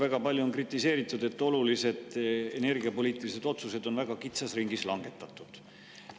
Väga palju on kritiseeritud, et olulised energiapoliitilised otsused on väga kitsas ringis langetatud.